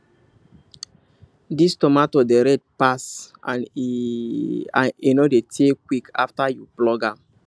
this tomato dey red pass and e and e no dey tear quick after you pluck am